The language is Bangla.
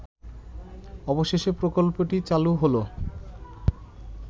অবশেষে প্রকল্পটি চালু হলো